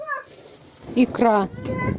икра